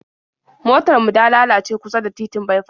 Motar mu da lalace kusa da titin baifas